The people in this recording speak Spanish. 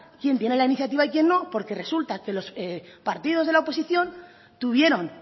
quién tiene la iniciativa y quién no porque resulta que los partidos de la oposición tuvieron